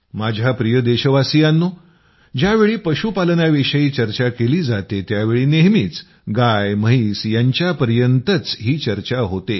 माझ्या प्रिय देशवासियांनो ज्यावेळी पशुपालनाविषयी चर्चा केली जातेत्यावेळी नेहमीच गाय म्हैस यांच्यापर्यंतच ही चर्चा होते